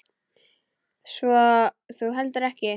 Svo þú heldur ekki?